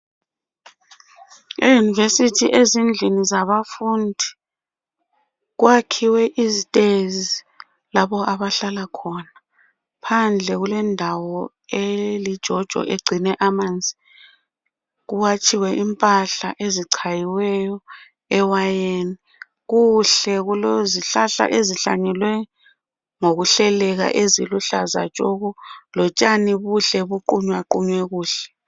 Esithi ezindlini zabafundi kwakhiwe izitezi lapha abahlala khona Phandle kulendawo elijojo, egcine amanzi. Kuwatshiwe impahla, ezichaywe ewayeni. Kuhle. Kulezihlahla eziihlanyelwe ngokuhleleka. Kulotshani obuqunywaqunywe kuhle.